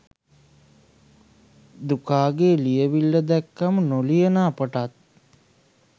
දුකාගෙ ලියවිල්ල දැක්කම නොලියන අපටත්